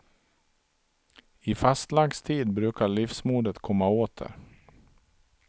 I fastlagstid brukar livsmodet komma åter.